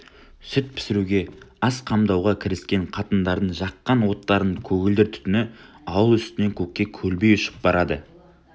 сүт пісіруге ас қамдауға кіріскен қатындардың жаққан оттарының көгілдір түтіні ауыл үстінен көкке көлбей ұшып барады